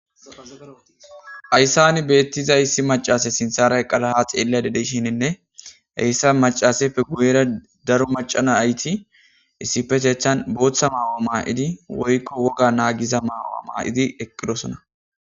Ayssani beettiza issi macase sinthara eqqada xeellada deshininne ayssa macaseppe guyera daro macana nayit issipeteethan booththa maayo maayidi woykko woga naagiza maayo maayidi eqqidosona.